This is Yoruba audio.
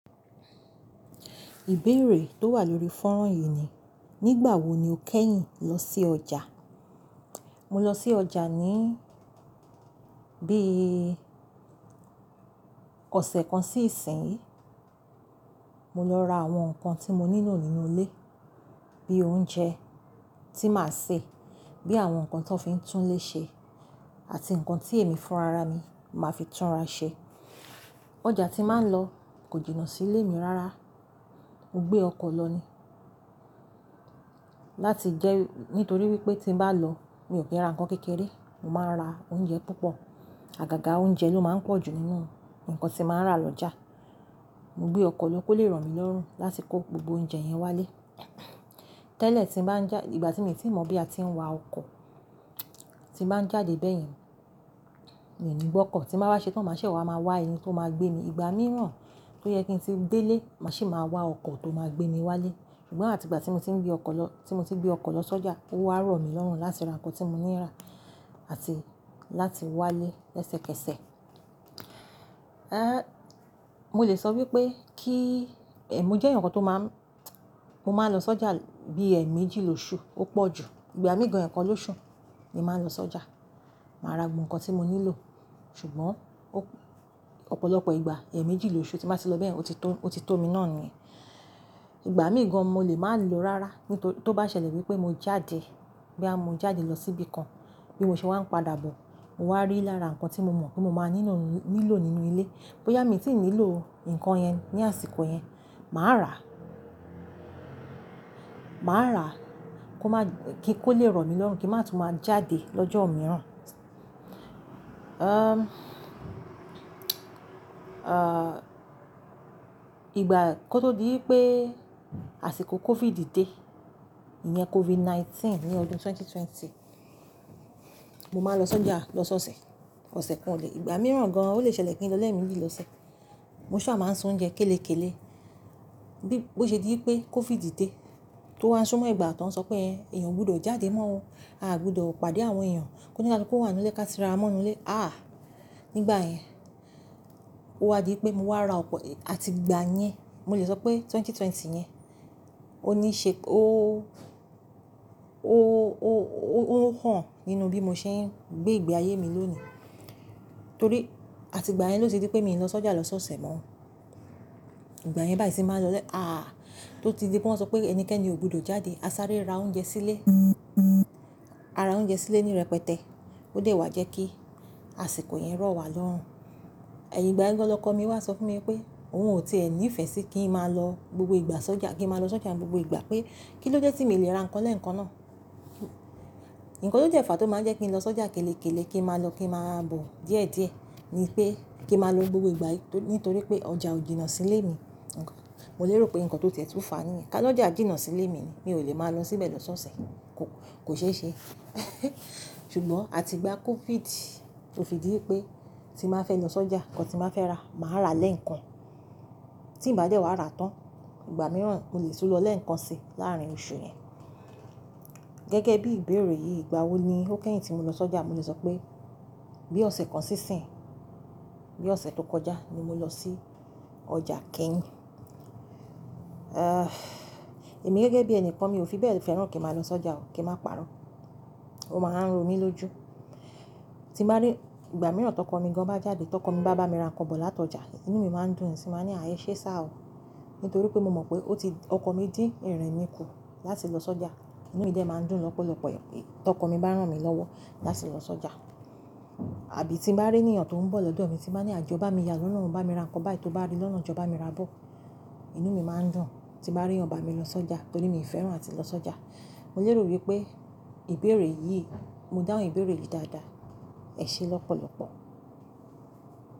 Ìbéèrè tó wà lórí fọ́nrán yìí ni, nígbà wo ni o kẹ́yìn lọ sí ọjà? Mo lọ sí ọjà ní bí i ọ̀sẹ̀ kan sí ìsín yìí. Mo lọ ra àwọn nǹkan tí mo nílò nínú ilé, bí i oúnjẹ tí màá sè, bí i àwọn nǹkan tó fi ń tún ilé ṣe àti nǹkan tí èémí fún ara mi, màá fi túnra ṣe. Ọjà tí màá ń lọ kò jìnnà sílé mi rárá. Mo gbé ọkọ̀ lọ ni. Láti jẹ́ nítorí wípé tí n bá lọ mi ò kí ń ra nǹkan kékeré, mo máa ń ra oúnjẹ púpọ̀. Àgàgà oúnjẹ ló máa ń pọ̀ jù nínú nǹkan tí màá ń rà lọ́jà. Mo gbé ọkọ̀ lọ kó lè ràn mí lọ́rùn láti kó gbogbo oúnjẹ yẹn wálé. Tẹ́lẹ̀ tí n bá ń já-- ìgbà tí mi ti i mọ̀ bí a ti ń wa ọkọ̀, tí n bá ń jáde bẹ́yẹn, mi ni gbọ́kọ̀ tí n bá wá ṣe tán màá ṣẹ̀ wá, màá wá ẹni tó máa gbé mi. Ìgbà mìíràn tó yẹ kí n ti délé, màá sì máa wá ọkọ̀ tó máa gbé mi wálé. Ṣùgbọ́n àti ìgbà tí mo ti ń gbé ọkọ̀ lọ, tí mo ti ń gbé ọkọ̀ lọ sọ́jà, ó wá rọ̀ mí lọ́rùn láti ra nǹkan tí mo ní í rà àti láti wá lé ẹsẹkẹsẹ. Ẹ́, mo lè sọ wípé kí, ẹ̀, mo jẹ́ èèyàn kan tó máa ń, mo máa ń lọ sọ́jà bí i ẹẹ̀mejì lóṣù ó pọ̀ jù. Ìgbà míì gan ẹẹkan lóṣù ni màá ń lọ sọ́jà. Màá ra gbogbo nǹkan tí mo nílò. Ṣùgbọ́n ó-- ọ̀pọ̀lọpọ̀ ìgbà ẹẹ̀mejì lóṣù tí n bá ti lọ bẹyẹn, ó ti tó, ó ti tó mi náà nìyẹn. Ìgbà míì gan mo lè máa lọ rárá. Ní to-- tó bá ṣẹlẹ̀ wípé mo jáde, bóyá mo jáde lọ sí ibi kan, bí mo ṣe wá ń padà bọ̀, mo wá rí lára nǹkan tí mo mọ̀ pé mo máa nílò nílò nínú ilé. Bóyá mi tí ì nílò nǹkan yẹn ní àsìkò yẹn, màá ràá. Màá ràá kí ó máa-- kí kó lè rọ̀ mí lọ́rùn, kí màá tún máa jáde lọ́jọ́ mìíràn. Ẹ́, ìgbà kó tó di wípé àsìkò COVID dé, ìyẹn COVID-19 ní ọdún 2020, mo máa ń lọ s’ọjà lọ́sọ̀ọ̀sẹ̀, ọ̀sẹ̀ kan òlè–ìgbà mìíràn gan-an ó lè ṣẹlẹ̀ kí n lọ́ lẹ́ẹ̀méjì lọ́sẹ̀. Mo ṣá à máa ń sun oúnjẹ kélekéle. Bí ó ṣe di wípé COVID dé, tó wá ń súnmọ́ ìgbà tó ń sọ pé ẹ́, èèyàn ò gbudọ̀ jáde mọ́ o. A ò gbudọ̀ pàdé àwọn èèyàn. K’onikaluku wà nínú ilé ká ti ra wa mọ́ inú ilé. Àáà, nígbà yẹn ó wá di wípé mo wá ra ọ̀pọ̀-- àti ìgbà yẹn, mo lè sọ pé 2020 yẹn, ó ní ṣe-- ó, ó, ó, ó hàn nínú bí mo ṣe ń gbé ìgbé ayé mi lónìí. Torí àti ìgbà yẹn ló ti di wípé mi ò lọ s’ọ́jà lọ́sọ̀ọ̀sẹ̀ mọ́. Ìgbà yẹn báyìí tí n ba ń lọlẹ̀–Àá, tó ti di pé wọ́n sọ pé ẹnikẹ́ni ò gbudọ̀ jáde, a sáré ra oúnjẹ sílé. A ra oúnjẹ sílé ní rẹpẹtẹ. Ó dẹ̀ wá jẹ́ kí àsìkò yẹn rọ̀ wá lọ́rùn. Ẹ̀yin ìgbà yẹn gan lọkọ mi wá sọ fún mi wípé òun ò tí è ní ìfẹ́ sí kí n máa lọ gbogbo ìgbà sọ́jà, kí n máa lọ sọ́jà gbogbo ìgbà pé kí ló dé tí mi lè ra nǹkan lẹ́ẹ̀kan náà. Ǹkan tó dẹ́ fàá tó máa ń jẹ́ kí n lọ sọ́jà kélekéle, kí n máa lọ, kí n máa bọ̀ díẹ̀díẹ̀ ni pé kí n máa lọ gbogbo ìgbà yìí torí, nítorí pé ọjà ò jìnnà sílé mi. Mo lè rò pé nǹkan tó ti ẹ̀ tún fàá nìyẹn. Ká lọ́jà jìnnà sílé mi ni, mi ò lè máa lọ síbẹ̀ lọ́sọ̀ọ̀sẹ̀. Kò, kò ṣeé ṣe. Ṣùgbọ́n àti ìgbà COVID, tó fi di í pé tí n bá fẹ́ lọ sọ́jà, nǹkan tí n bá fẹ́ rà, màá rà lẹ́ẹ̀kan. Tí ǹ bá dẹ̀ wá rà tán. Ìgbà mìíràn mo lè tún lọ lẹ́ẹ̀kan sí láàárín oṣù yẹn. Gẹ́gẹ́ bí ìbéèrè yìí, ìgbà wo ni ó kẹ́yìn tí mo lọ sọ́jà? Mo lè sọ pé bí ọ̀sẹ̀ kan sí ìsín. Bí ọ̀sẹ̀ tó kọjá ni mo lọ sí ọjà kẹ́yìn. Ẹ́, èmi gẹ́gẹ́ bí ẹnìkan mi ò fi bẹ́ẹ̀ fẹ́ràn kí n máa lọ sọ́jà o, kí n máa parun. Ó máa ń ro mí lójú. Tí n bá rí, ìgbà mìíràn t’ọkọ mi gan bá jáde, t’ọkọ mi bá bá mi ra nǹkan bọ̀ láti ọjà, inú mi máa ń dùn sì máa ní "ah e ṣé sir o". Nítorí pé mo mọ̀ pé ó ti-- ọkọ mi dín ìrìn mi kù láti lọ sọ́jà. Inú mi dẹ̀ ma ń dùn lọ́pọ̀lọpọ̀ ẹ̀ pé. T’ọkọ mi bá rán mi lọ́wọ́ láti lọ sọ́jà. Àbí tí n bá rí ènìyàn tó ń bọ̀ lọ́dọ̀ mi tí n bá ní "àh, jọọ bá mi yà lọ́nà o, bá mi ra nǹkan báyìí tó bá rí lọ́nà, jọọ bá mi rà á bọ̀". Inú mi máa ń dùn tí n bá rí èèyàn bámi lọ sọ́jà torí mi ò fẹ́ràn áti lọ sọ́jà. Mo lè rò wípé ìbéèrè yìí, mo dáhùn ìbéèrè yìí dáadáa. Ẹ ṣe lọ́pọ̀lọpọ̀.